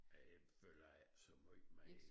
Det følger jeg ikke så meget med i